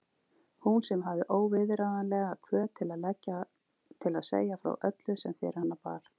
Hún sem hafði óviðráðanlega hvöt til að segja frá öllu sem fyrir hana bar.